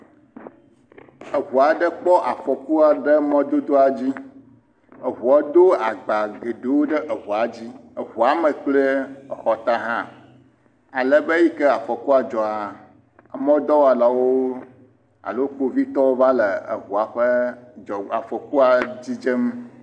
Eŋu aɖe kpɔ afɔkua ɖe mɔdodoa dzi. Eŋua do agba geɖewo ɖe eŋua dzi. Eŋua me kple exɔta hã. Alebe eyi ke afɔkua dzɔa, emɔdɔwɔlawo alo Kpovitɔwo va le eŋua ƒe dzɔ, afɔkua dzidzem